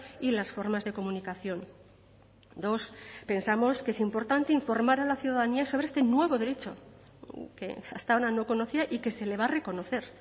y las formas de comunicación dos pensamos que es importante informar a la ciudadanía sobre este nuevo derecho que hasta ahora no conocía y que se le va a reconocer